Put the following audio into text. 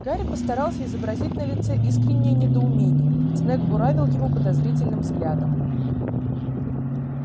гарри постарался изобразить на лице искреннее недоумение снегг буравил его подозрительным взглядом